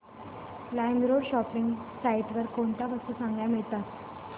LimeRoad shopping site वर कोणत्या वस्तू चांगल्या मिळतात